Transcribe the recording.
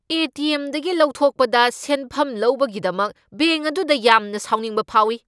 ꯑꯦ. T. M. ꯗꯒꯤ ꯂꯧꯊꯣꯛꯄꯗ ꯁꯦꯟꯐꯝ ꯂꯧꯕꯒꯤꯗꯃꯛ ꯕꯦꯡꯛ ꯑꯗꯨꯗ ꯌꯥꯝꯅ ꯁꯥꯎꯅꯤꯡꯕ ꯐꯥꯎꯏ꯫